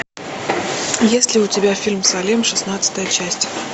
есть ли у тебя фильм салем шестнадцатая часть